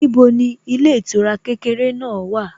Níbo ni ilé ìtura kékeré náà wà?